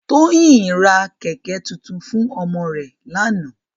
Toyin rá kèkè tútún fún òmò rè làná